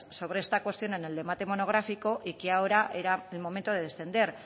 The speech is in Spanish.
sobre esta cuestión en el debate monográfico y que ahora era el momento de descender